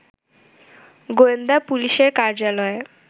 গোয়েন্দা পুলিশের কার্যালয়ে